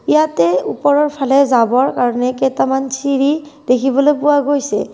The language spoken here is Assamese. ইয়াতে ওপৰৰ ফালে যাবৰ কাৰণে কেইটামান চিৰি দেখিবলৈ পোৱা গৈছে।